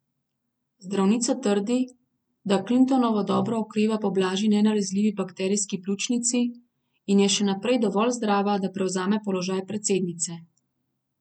Zdravnica trdi, da Clintonova dobro okreva po blažji nenalezljivi bakterijski pljučnici in je še naprej dovolj zdrava, da prevzame položaj predsednice.